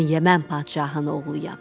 Mən Yəmən padşahının oğluyam.